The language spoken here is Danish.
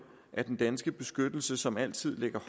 at den danske beskyttelse som altid ligger